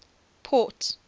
port